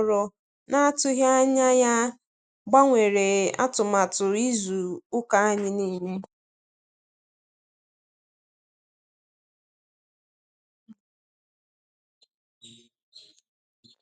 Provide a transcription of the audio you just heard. Ekwentị ahụ akpọrọ na-atụghị anya ya gbanwere atụmatụ izu ụka anyị niile.